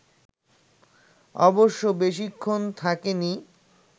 অবশ্য বেশিক্ষণ থাকে নি